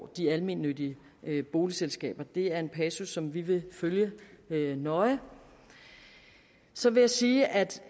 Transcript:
de almennyttige boligselskaber det er en passus som vi vil følge nøje så vil jeg sige at